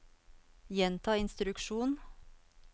gjenta instruksjon